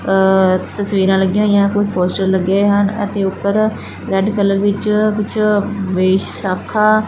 ਅ ਤਸਵੀਰਾਂ ਲੱਗੀਆਂ ਹੋਈਆਂ ਕੋ ਪੋਸਟਰ ਲੱਗੇ ਹੋਏ ਹਨ ਅਤੇ ਉੱਪਰ ਰੈਡ ਕਲਰ ਵਿੱਚ ਕੁਝ ਵੇ ਸਾਖਾ--